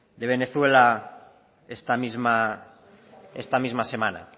de bolivia esta misma semana